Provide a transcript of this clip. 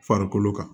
Farikolo kan